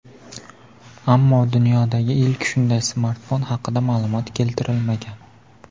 Ammo dunyodagi ilk shunday smartfon haqida ma’lumot keltirilmagan.